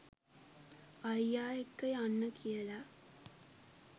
අයියා එක්ක යන්න කියලා